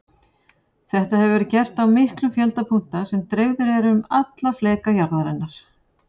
Þetta hefur verið gert á miklum fjölda punkta sem dreifðir eru um alla fleka jarðarinnar.